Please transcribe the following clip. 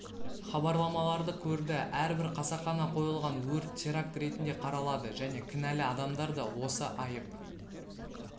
хабарламаларды көрді әрбір қасақана қойылған өрт теракт ретінде қаралады және кінәлі адамдар да осы айып